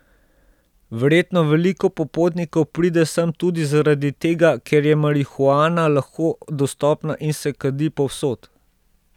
Verjetno veliko popotnikov pride sem tudi zaradi tega, ker je marihuana lahko dostopna in se kadi povsod.